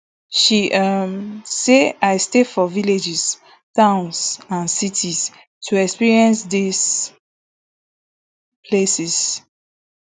she um say i stay for villages towns and cities to experience dis places